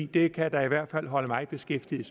det kan da i hvert fald holde mig beskæftiget i